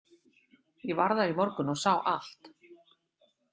Ég var þar í morgun og sá allt.